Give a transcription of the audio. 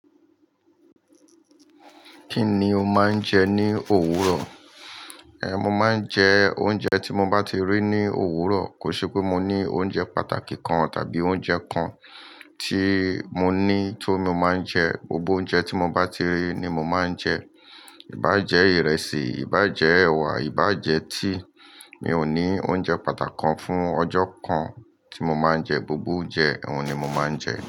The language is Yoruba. Kí ni o máa ń jẹ ní òwúrọ̀? Ehn, mo máa ń jẹ oúnjẹ tí mo bá ti rí ní òwúrọ̀. Kò ṣe pé mo ní oúnjẹ pàtàkì kan tàbí oúnjẹ kan tí mo ní tó mo máa ń jẹ. Gbogbo oúnjẹ tí mo bá ti rí ni mo máa ń jẹ. Ìbá jẹ́ ìrẹsì, ìbá jẹ́ ẹ̀wà, ìbá jẹ́ tea. Mi ò ní oúnjẹ pàtàkì kan fún ọjọ́ kan tí mo máa ń jẹ. Gbogbo oúnjẹ, òun ni mo máa ń jẹ.